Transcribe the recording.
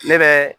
Ne bɛ